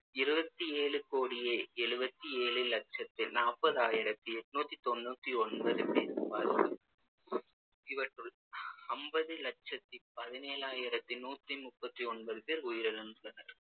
இருவத்தி ஏழு கோடியே எழுவத்தி ஏழு லட்சத்து நாப்பதாயிரத்தி எண்நூத்து தொண்ணூத்து ஒன்பது பேர் பேர் பாதி~ இவற்றுள் அம்பது லட்சத்து பதினேழாயிரத்தி நூத்தி முப்பத்தி ஒன்பது பேர் உயிரிழந்துள்ளனர்